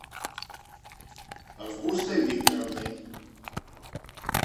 августой викторовной